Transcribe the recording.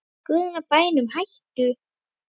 Í guðanna bænum hættu